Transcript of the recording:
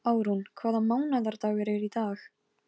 Árún, hvaða mánaðardagur er í dag?